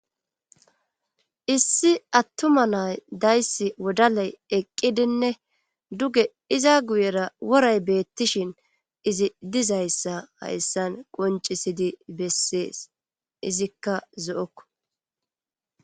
Issi attuma nay dayssi wodaley eqqidinne duge iza guyera woray beettishin izi dizayssa hayssan qoncisidi bessees izikka zo7okko